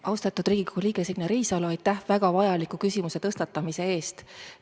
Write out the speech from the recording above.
Austatud Riigikogu liige Signe Riisalo, aitäh väga vajaliku küsimuse tõstatamise eest!